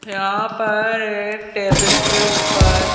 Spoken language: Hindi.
यहां पर एक टेबल के ऊपर--